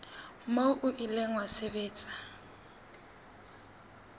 moo o ile wa sebediswa